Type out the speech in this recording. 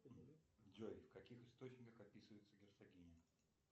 джой в каких источниках описывается герцогиня